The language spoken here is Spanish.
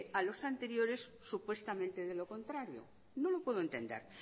a los anteriores supuestamente de lo contrario no lo puedo entender